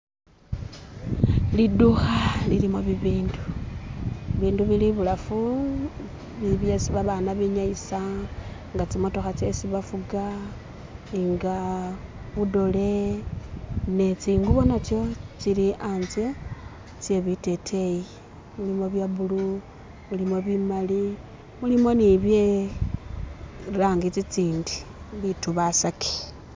Lidukha lilimo bibindu. Bindu bili ibulafu byesi babaana benyayisa nga tsimotokha tsesi bafuga nga budole ne tsingubo natsyo tsili anzye tsye biteteyi, mulimo bya blue, mulimo bimali, mulimo ni bye tsirangi tsitsindi